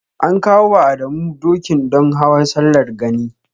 An kawo wa Adamu doki don Hawan Sallar Gani.